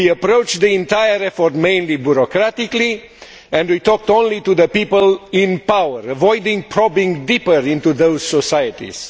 We approached the entire effort mainly bureaucratically and we talked only to the people in power, avoiding deeper probing into those societies.